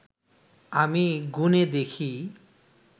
আমি গুনে দেখি